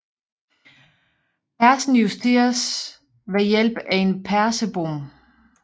Persen justeres ved hjælp af en persebom